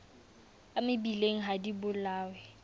a mebileng ha di bolawe